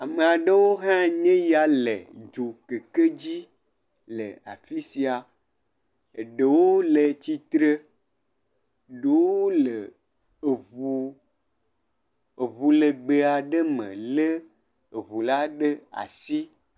Ame aɖewo hãe nye ya le dzokeke dzi le afi sia. Eɖewo le tsitre, ɖowo le eŋu eŋu legbe aɖe me le eŋula ɖe asi.